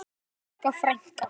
Elsku Sigga frænka.